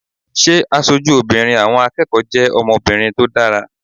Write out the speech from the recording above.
Ṣé aṣojú obìnrin àwọn akẹ́kọ̀ọ́ jẹ́ ọmọbìnrin tó dára?